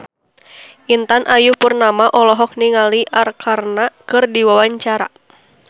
Intan Ayu Purnama olohok ningali Arkarna keur diwawancara